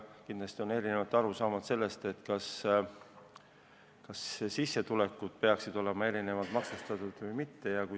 Kindlasti on erinevaid arusaamu, kas sissetulekud peaksid olema erinevalt maksustatud või mitte.